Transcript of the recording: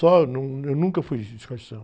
num, não, eu nunca fui de escola de samba.